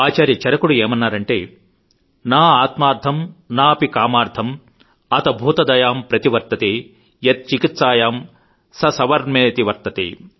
ఆచార్య చరకుడు ఏమన్నారంటే న ఆత్మార్థం న అపి కామార్థం అతభూతదయామ్ ప్రతి వర్తతే యత్ చికిత్సాయాం స సవర్మేతి వర్తతే